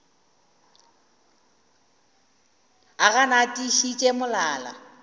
o gana a tiišitše molala